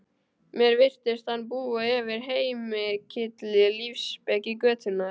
Mér virtist hún búa yfir heilmikilli lífsspeki götunnar